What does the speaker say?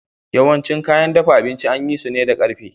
Yawancin kayan dafa abinci an yi su ne da ƙarfe